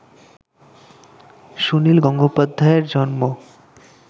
সুনীল গঙ্গোপাধ্যায়ের জন্ম